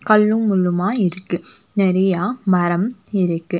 கல்லும் முள்ளுமா இருக்கு. நெறைய மரம் இருக்கு.